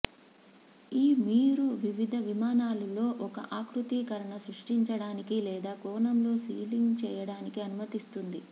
ఈ మీరు వివిధ విమానాలు లో ఒక ఆకృతీకరణ సృష్టించడానికి లేదా కోణంలో సీలింగ్ చేయడానికి అనుమతిస్తుంది